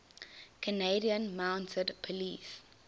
canadian mounted police